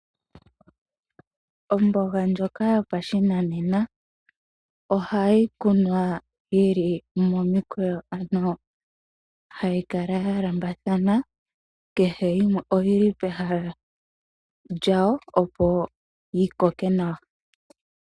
Omboga ndyoka yopa shinanena ohayi kunwa yili momikweyo ano hayi kala ya lambathana kehe yimwe oyili pehala lyawo opo yi koke nawa.